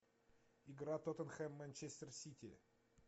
игра тоттенхэм манчестер сити